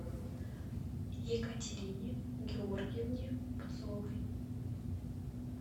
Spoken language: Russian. екатерине георгиевне купцовой